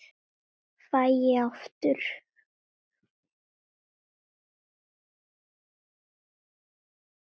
Fæ ég aftur?